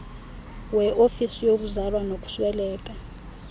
weofisi yokuzalwa nokusweleka